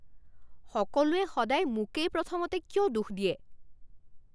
সকলোৱে সদায় মোকেই প্ৰথমতে কিয় দোষ দিয়ে?